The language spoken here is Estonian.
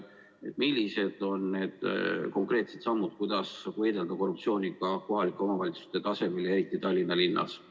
Millised on konkreetsed sammud, kuidas võidelda korruptsiooniga kohalike omavalitsuste tasandil, eriti Tallinna linnas?